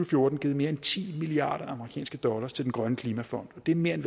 fjorten givet mere end ti milliarder amerikanske dollars til den grønne klimafond og det er mere end